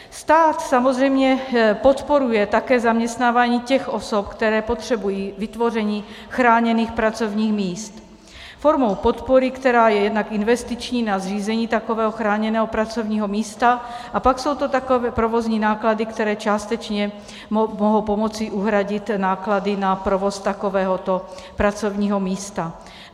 Stát samozřejmě podporuje také zaměstnávání těch osob, které potřebují vytvoření chráněných pracovních míst formou podpory, která je jednak investiční na zřízení takového chráněného pracovního místa, a pak jsou to takové provozní náklady, které částečně mohou pomoci uhradit náklady na provoz takovéhoto pracovního místa.